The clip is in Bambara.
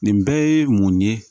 Nin bɛɛ ye mun ye